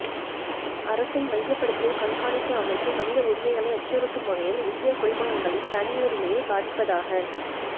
அரசின் மையப்படுத்திய கண்காணிப்பு அமைப்பு மனித உரிமைகளை அச்சுறுத்தும் வகையில் இந்திய குடிமகன்களின் தனியுரிமையைப் பாதிப்பதாக